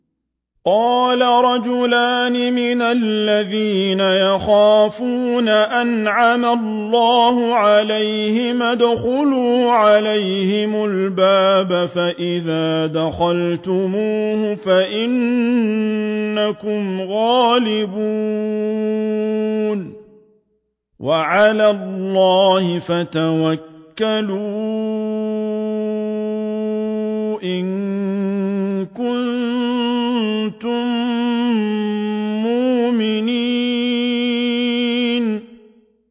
قَالَ رَجُلَانِ مِنَ الَّذِينَ يَخَافُونَ أَنْعَمَ اللَّهُ عَلَيْهِمَا ادْخُلُوا عَلَيْهِمُ الْبَابَ فَإِذَا دَخَلْتُمُوهُ فَإِنَّكُمْ غَالِبُونَ ۚ وَعَلَى اللَّهِ فَتَوَكَّلُوا إِن كُنتُم مُّؤْمِنِينَ